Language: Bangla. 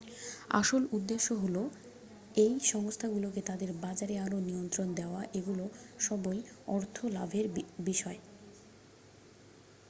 আসল উদ্দেশ্য হল এই সংস্থাগুলোকে তাদের বাজারে আরও নিয়ন্ত্রণ দেওয়া এগুলো সবই অর্থ লাভের বিষয়